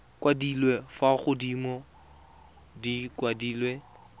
kwadilwe fa godimo di kwadilwe